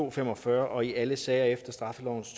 og fem og fyrre og i alle sager efter straffelovens